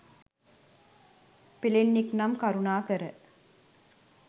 පෙලෙන්නෙක් නම් කරුණාකර